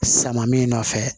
Sama min nɔfɛ